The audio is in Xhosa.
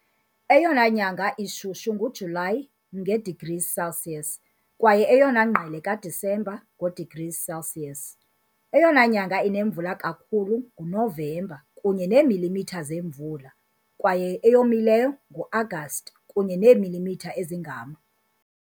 Eyona nyanga ishushu nguJulayi, nge-degrees Celsius, kwaye eyona ngqele kaDisemba, ngo-degrees Celsius. Eyona nyanga inemvula kakhulu nguNovemba, kunye neemilimitha zemvula, kwaye eyomileyo nguAgasti, kunye neemilimitha ezingama .